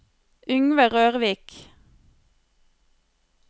Yngve Rørvik